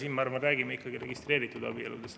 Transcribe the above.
Siin me räägime ikkagi registreeritud abieludest.